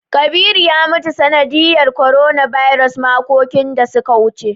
Kabiru ya mutu ta sanadiyar "coronavirus" makoki da su ka wuce.